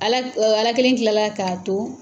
Ala k o Ala kelen tilala k'a to